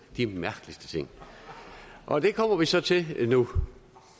de mærkeligste ting og det kommer vi så til nu